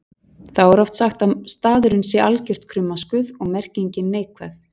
Þá er oft sagt að staðurinn sé algert krummaskuð og merkingin neikvæð.